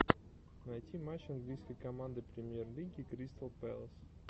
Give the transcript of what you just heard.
найти матч английской команды премьер лиги кристал пэлас